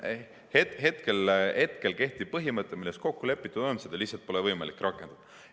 Kehtivat põhimõtet, milles kokku lepitud on, pole lihtsalt võimalik rakendada.